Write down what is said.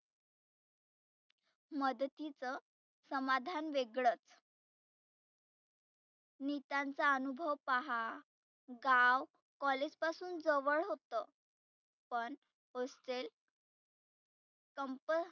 मदतीच समाधान वेगळच नितांचा अनुभव पहा गाव college पासुन जवळ होतं. पण hostel कंपल